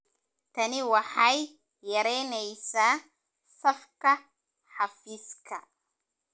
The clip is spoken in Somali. Tani waxay yaraynaysaa safka xafiiska.